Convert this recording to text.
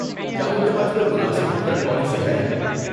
کیا ان کے پاس کوئی مناسب ریٹرن پالیسی ہے؟